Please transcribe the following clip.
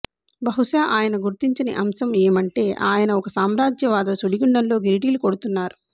బహుశా ఆయన గుర్తించని అంశం ఏమంటే ఆయన ఒక సామ్రాజ్యవాద సుడిగుండంలో గిరిటీలు కొడుతున్నారు